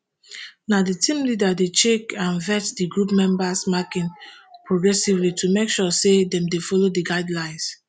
na di team leader dey check and vets di group members marking progressively to make sure say dem dey follow di guidelines